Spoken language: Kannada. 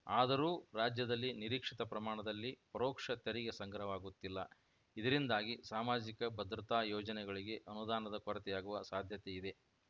ಆದರೂ ರಾಜ್ಯದಲ್ಲಿ ನಿರೀಕ್ಷಿತ ಪ್ರಮಾಣದಲ್ಲಿ ಪರೋಕ್ಷ ತೆರಿಗೆ ಸಂಗ್ರಹವಾಗುತ್ತಿಲ್ಲ ಇದರಿಂದಾಗಿ ಸಾಮಾಜಿಕ ಭದ್ರತಾ ಯೋಜನೆಗಳಿಗೆ ಅನುದಾನದ ಕೊರತೆಯಾಗುವ ಸಾಧ್ಯತೆ ಇದೆ